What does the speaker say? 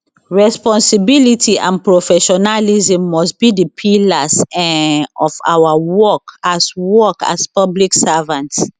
responsibility and professionalism must be di pillars um of our work as work as public servants